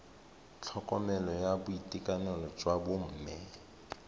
tlhokomelo ya boitekanelo jwa bomme